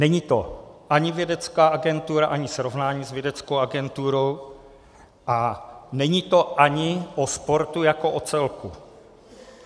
Není to ani vědecká agentura, ani srovnání s vědeckou agenturou a není to ani o sportu jako o celku.